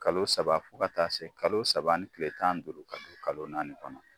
Kalo saba fo ka taa se kalo saba ni kile tan ni duuru ni kalo naani kɔnɔ.